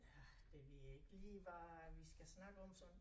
Ja det ved jeg ikke lige hvad vi skal snakke om så